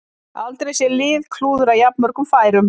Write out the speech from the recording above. Aldrei séð lið klúðra jafnmörgum færum